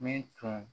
Min tun